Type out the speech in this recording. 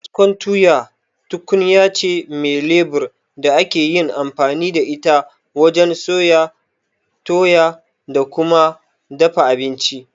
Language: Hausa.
Kaskon tuya tukunyace me lebur da akeyin amfani da ita wajen soya, toya da kuma dafa abinci.